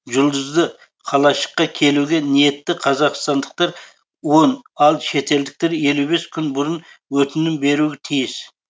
жұлдызды қалашыққа келуге ниетті қазақстандықтар он ал шетелдіктер елу бес күн бұрын өтінім беруі тиіс